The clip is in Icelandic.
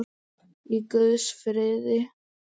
Í guðs friði.